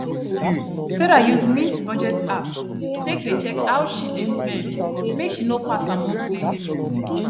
sarah use mint budget app take dey check how she dey spend make she no pass her monthly limit